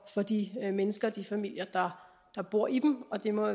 de mennesker de familier der bor i dem og det må